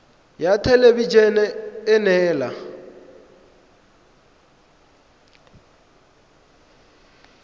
ya thelebi ene e neela